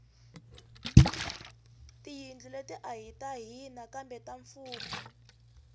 tiyindlo let ahi ta hina kambe ta mfumo